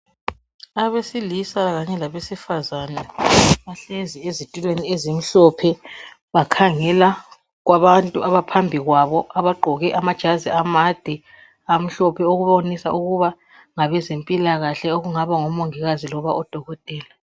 Abesilisa kanye labesifazana bahlezi ezitulweni ezimhlophe bakhangela ebantwini abaphambi kwabo abagqoke amajazi amade amhlophe okubonisa ukuthi ngabezempilakahle abangaba ngoMongikazi kumbe oDokotela.